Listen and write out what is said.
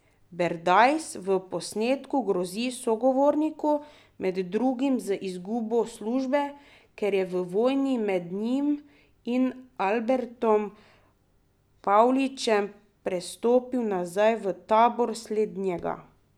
Berdajs v posnetku grozi sogovorniku, med drugim z izgubo službe, ker je v vojni med njim in Albertom Pavličem prestopil nazaj v tabor slednjega.